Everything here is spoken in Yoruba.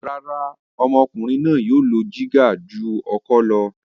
Rárá, ọmọkùnrin náà yóò lo dígà ju ọkọ́ lọ.